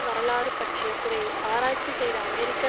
வரலாறு பற்றிய துறையில் ஆராய்ச்சி செய்த அமெரிக்க